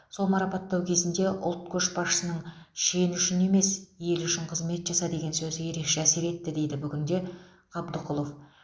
сол марапаттау кезінде ұлт көшбасшысының шен үшін емес ел үшін қызмет жаса деген сөзі ерекше әсер етті дейді бүгінде қабдықұлов